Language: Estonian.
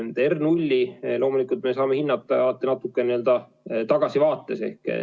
R0 loomulikult me saame hinnata natukene tagasivaates.